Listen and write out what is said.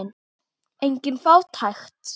Engin fátækt.